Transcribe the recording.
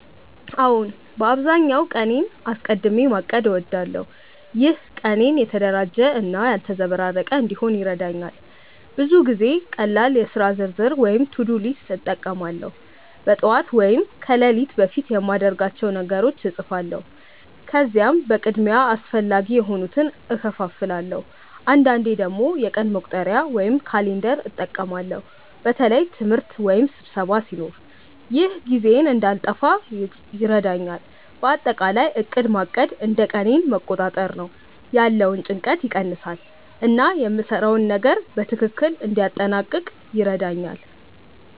አዎን፣ በአብዛኛው ቀኔን አስቀድሚ ማቀድ እወዳለሁ። ይህ ቀኔን የተደራጀ እና ያልተዘበራረቀ እንዲሆን ይረዳኛል። ብዙ ጊዜ ቀላል የሥራ ዝርዝር (to-do list) እጠቀማለሁ። በጠዋት ወይም ከሌሊት በፊት የማድርጋቸውን ነገሮች እጻፋለሁ፣ ከዚያም በቅድሚያ አስፈላጊ የሆኑትን እከፋፍላለሁ። አንዳንዴ ደግሞ የቀን መቁጠሪያ (calendar) እጠቀማለሁ በተለይ ትምህርት ወይም ስብሰባ ሲኖር። ይህ ጊዜዬን እንዳልጠፋ ይረዳኛል። በአጠቃላይ ዕቅድ ማድረግ እንደ ቀኔን መቆጣጠር ነው፤ ያለውን ጭንቀት ይቀንሳል እና የምሰራውን ነገር በትክክል እንዲያጠናቅቅ ይረዳኛል።